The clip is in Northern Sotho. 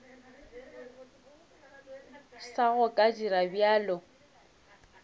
sa go ka dira bjalo